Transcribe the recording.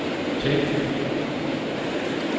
tænd